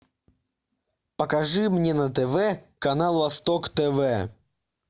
покажи мне на тв канал восток тв